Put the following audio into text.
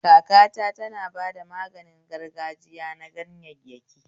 Kakata tana bada maganin gargajiya na ganyayyaki